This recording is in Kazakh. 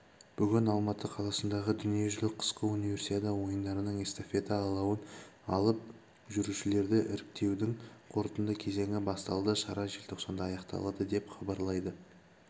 бүгін алматы қаласындағы дүниежүзілік қысқы универсиада ойындарының эстафета алауын алып жүрушілерді іріктеудің қорытынды кезеңі басталды шара желтоқсанда аяқталады деп хабарлайды